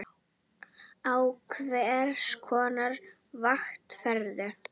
Á hvers konar vakt ferðu?